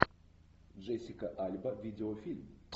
джессика альба видеофильм